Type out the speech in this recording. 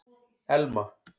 Elma